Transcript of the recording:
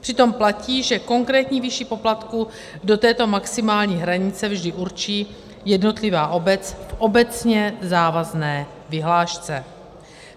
Přitom platí, že konkrétní výši poplatků do této maximální hranice vždy určí jednotlivá obec v obecně závazné vyhlášce.